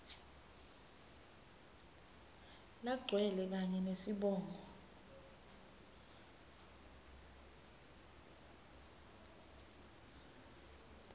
lagcwele kanye nesibongo